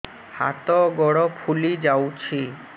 ହାତ ଗୋଡ଼ ଫୁଲି ଯାଉଛି